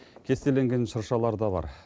кестеленген шыршалар да бар